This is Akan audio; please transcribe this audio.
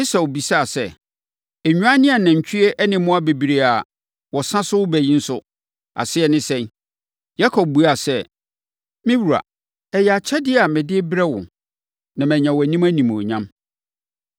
Esau bisaa sɛ, “Nnwan ne anantwie ne mmoa bebrebe a wɔsa so reba yi nso, aseɛ ne sɛn?” Yakob buaa sɛ, “Me wura, ɛyɛ akyɛdeɛ a mede rebrɛ wo, na manya wʼanim animuonyam.”